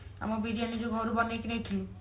ଆମ ବିରିୟାନୀ ଯୋଉ ଘରୁ ବନେଇକି ନେଇକି ଯାଇଥିଲୁ